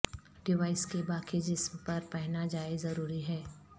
device کے باقی جسم پر پہنا جائے ضروری ہے